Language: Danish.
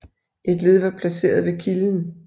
Et led var placeret ved kilden